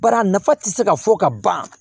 Bari a nafa tɛ se ka fɔ ka ban